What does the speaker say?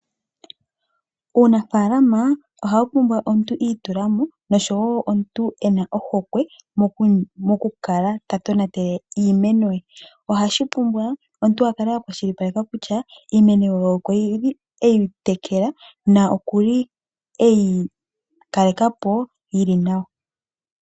Uunafaalama ohawu pumbwa omuntu iitulamo nosho wo omuntu ena ohokwe mokukala tatonatele iimeno ye. Ohashi pumbwa omuntu akale akwashilipaleka kutya iimeno ye okuli eyi tekela na okuli eyi kaleka po yili nawa.